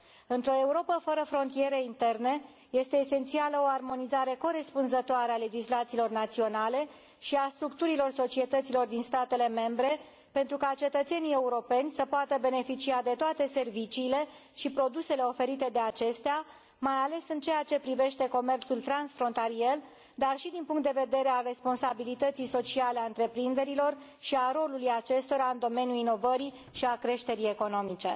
Într o Europă fără frontiere interne este esențială o armonizare corespunzătoare a legislațiilor naționale și a structurilor societăților din statele membre, pentru ca cetățenii europeni să poată beneficia de toate serviciile și produsele oferite de acestea, mai ales în ceea ce privește comerțul transfrontalier, dar și din punctul de vedere al responsabilității sociale a întreprinderilor și al rolului acestora în domeniul inovării și al creșterii economice.